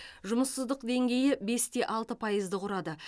жұмыссыздық деңгейі бесте алты пайызды құрады